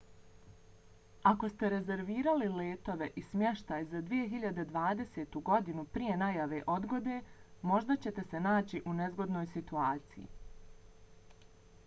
ako ste rezervirali letove i smještaj za 2020. godinu prije najave odgode možda ćete se naći u nezgodnoj situaciji